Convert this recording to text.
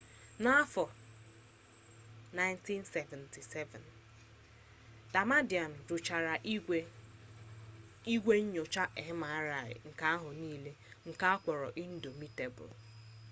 n'afọ 1977 dkt damadian rụchara igwe nnyocha mri nke ahụ niile nke ọ kpọrọ indọmitebul